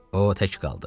O tək qaldı.